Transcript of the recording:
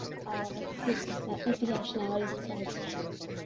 আর হিস ইতিহাস নেওয়ার ইচ্ছা আছে